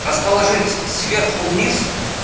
расположить сверху вниз